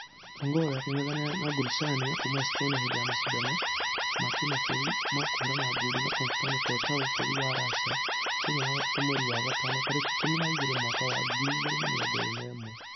Ongare akĩngethanĩra na gorishnaya kuuma estonia hĩndĩ ya mashidano ma kĩmabũrũri ma kũhũrana ngundi ma konstain korotkov bũrũri wa russia mũthenya wa gatatatũ mweri wa gatano tarĩki ikũmi na igĩrĩ mwaka wa 2021.